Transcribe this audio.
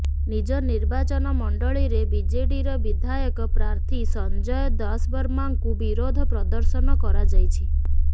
ନିଜ ନିର୍ବାଚନ ମଣ୍ଡଳୀରେ ବିଜେଡ଼ିର ବିଧାୟକ ପ୍ରାର୍ଥୀ ସଞ୍ଜୟ ଦାଶବର୍ମାଙ୍କୁ ବିରୋଧ ପ୍ରଦର୍ଶନ କରାଯାଇଛି